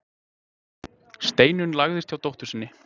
Steinunn lagðist hjá dóttur sinni.